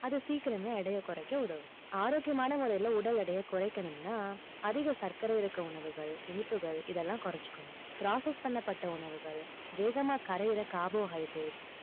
அது சீக்கிரமே எடையை குறைக்க உதவும். ஆரோக்கியமான முறையிலே உடல் எடையை குறைக்கணும்னா அதிக சர்க்கரை இருக்க உணவுகள் இனிப்புகள் இதெல்லாம் குறைச்சுக்கணும் process பண்ணப்பட்ட உணவுகள் வேகமா கரையிற carbohydrates